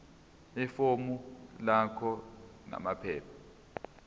ifomu lakho namaphepha